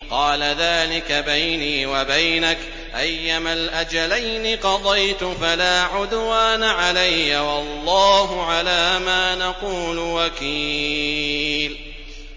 قَالَ ذَٰلِكَ بَيْنِي وَبَيْنَكَ ۖ أَيَّمَا الْأَجَلَيْنِ قَضَيْتُ فَلَا عُدْوَانَ عَلَيَّ ۖ وَاللَّهُ عَلَىٰ مَا نَقُولُ وَكِيلٌ